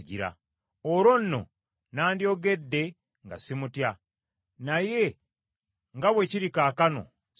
Olwo nno nandyogedde nga simutya; naye nga bwe kiri kaakano, sisobola.”